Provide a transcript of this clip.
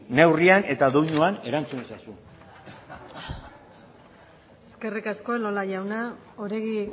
neurrian eta doinuan erantzun ezazu eskerrik asko elola jauna oregi